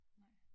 Nej